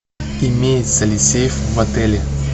имеется ли сейф в отеле